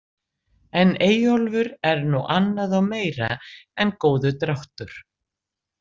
En Eyjólfur er nú annað og meira en góður dráttur.